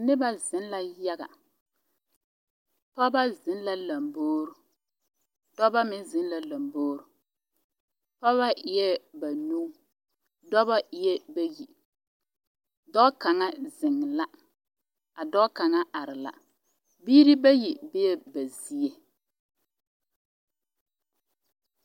noba zeŋ la yaga pɔgeba zeŋ la lambore dɔba meŋ zeŋ la lambore pɔba eɛ banuu dɔba eɛ bayi dɔɔ kaŋa zeŋ la ka dɔɔ kaŋa are la biiri bayi bee ba zie